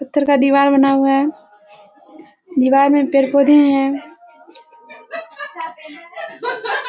पत्थर का दीवार बना हुआ है। दीवार में पेड़-पौधे हैं।